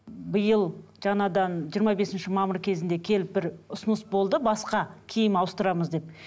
биыл жаңадан жиырма бесінші мамыр кезінде келіп бір ұсыныс болды басқа киім ауыстырамыз деп